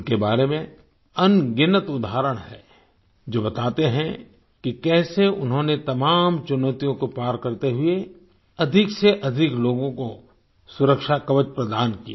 उनके बारे में अनगिनत उदाहरण हैं जो बताते हैं कि कैसे उन्होंने तमाम चुनौतियों को पार करते हुए अधिक से अधिक लोगों को सुरक्षा कवच प्रदान किया